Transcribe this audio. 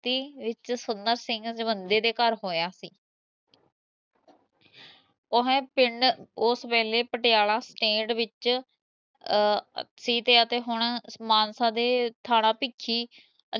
ਵਿਚ ਸੁੰਦਰ ਸਿੰਘ ਜਵੰਦੇ ਦੇ ਘਰ ਹੋਇਆ ਓਹ ਪਿੰਡ ਉਸ ਵੇਲੇ ਪਟਿਆਲਾ ਸਟੇਟ ਵਿਚ ਸੀ, ਅਤੇ ਹੁਣ ਹੁਣ ਮਾਨਸਾ ਦੇ ਥਾਣਾ ਭੀਖੀ